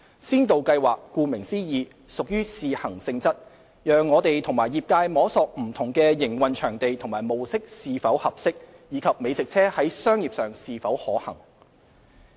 先導計劃顧名思義屬試行性質，讓我們和業界摸索不同的營運場地和模式是否合適，以及美食車在商業上是否可行。